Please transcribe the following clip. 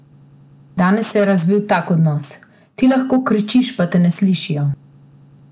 Danes pa se je razvil tak odnos: "Ti lahko kričiš, pa te ne slišijo.